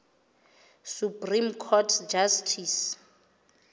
supreme court justice